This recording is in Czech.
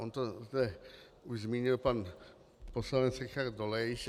On to už zmínil pan poslanec Richard Dolejš.